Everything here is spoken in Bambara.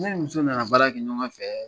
Ne ni muso nana baara kɛ ɲɔgɔn fɛ